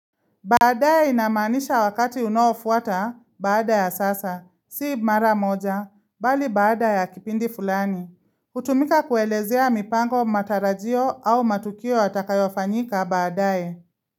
Baadae inamanisha wakati unaofuata baadae ya sasa, si mara moja, bali baadae ya kipindi fulani. Hutumika kuelezea mipango matarajio au matukio yatakayofanyika baadae.